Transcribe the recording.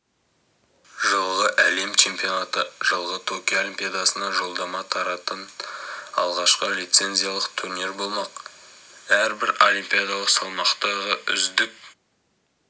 жылғы әлем чемпионаты жылғы токио олимпиадасына жолдама таратын алғашқы лизенциялық турнир болмақ әрбір олимпиадалық салмақтағы үздік